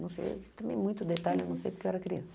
Não sei, também muito detalhe, não sei porque eu era criança.